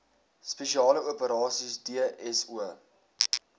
spesiale operasies dso